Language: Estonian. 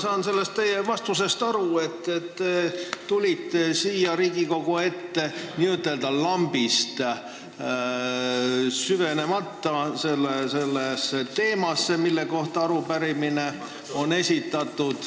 Ma saan teie vastusest aru, et te tulite siia Riigikogu ette n-ö lambist vastama, süvenemata teemasse, mille kohta arupärimine on esitatud.